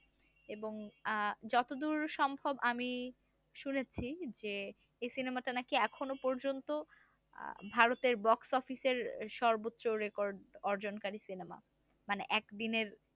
এবং আহ যতদূর সম্ভব আমি শুনেছি যে এই সিনেমা টা নাকি এখনো পর্যন্ত আহ ভারতের box office এর সর্বোচ্চ record অর্জনকারী সিনেমা মানে একদিনের।